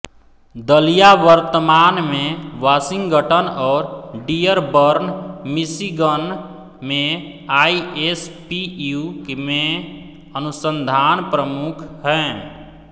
दलिया वर्तमान में वाशिंगटन और डियरबर्न मिशिगन में आईएसपीयू में अनुसंधान प्रमुख हैं